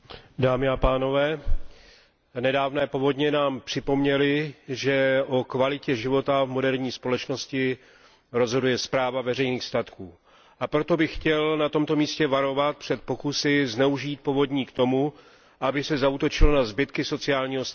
Paní předsedající, nedávné povodně nám připomněly, že o kvalitě života v moderní společnosti rozhoduje správa veřejných statků, a proto bych chtěl na tomto místě varovat před pokusy zneužít povodní k tomu, aby se zaútočilo na zbytky sociálního státu.